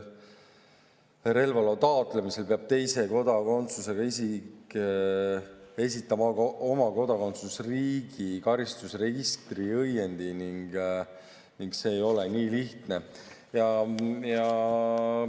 Relvaloa taotlemisel peab teise kodakondsusega isik esitama oma kodakondsusriigi karistusregistri õiendi ning see ei ole nii lihtne.